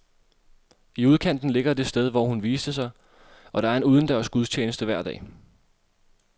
I udkanten ligger det sted, hvor hun viste sig, og der er en udendørs gudstjeneste hver dag.